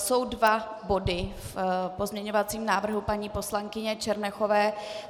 Jsou dva body v pozměňovacím návrhu paní poslankyně Černochové.